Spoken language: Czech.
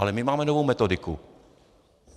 Ale my máme novou metodiku.